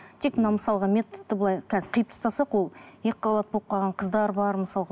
тек мына мысалға методты былай қазір қиып тастасақ ол екіқабат болып қалған қыздар бар мысалға